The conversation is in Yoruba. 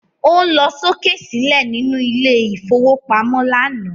O ń lọ sókè sílẹ̀ nínú ilé ìfowópamọ́ lánàá